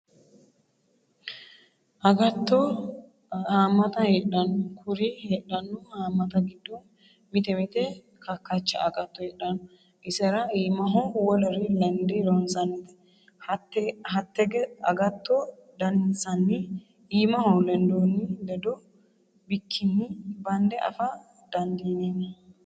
Agatto hamatta heedhano kuri heedhano hamatta giddo mite mite kakacha agatto heedhano isera iimaho wolere lende loonsannite hatte agatto daninsanni iimaho lendonni ledo bikkinni bande afa dandiineemmo.